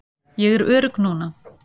Ég er örugg núna.